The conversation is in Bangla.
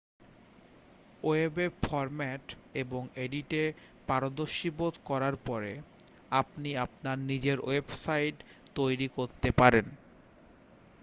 ওয়েবে ফর্ম্যাট এবং এডিটে পারদর্শী বোধ করার পরে আপনি আপনার নিজের ওয়েবসাইট তৈরি করতে পারেন